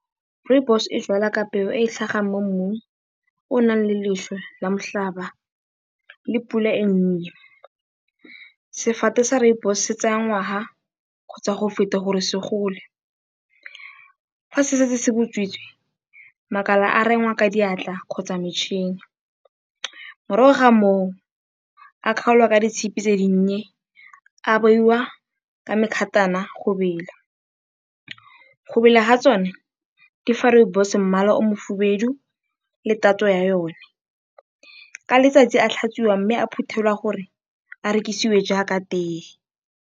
Rooibos e jwalwa ka peo e e tlhagang mo mmung o o nang le leswe la motlhaba le pula e e nnye. Sefate sa rooibos se tsaya ngwaga kgotsa go feta gore se gole. Fa se setse se butswitse, makala a rengwa ka diatla kgotsa metšhini, morago ga moo a kgaolwa ka ditshipi tse di nnye. A beiwa ka mekgatana go bela, go bela ga tsone di fa rooibos mmala o o mohibidu le tatso ya yone. Ka letsatsi a a tlhatswiwa mme a a phuthelwa gore a rekisiwe jaaka teye.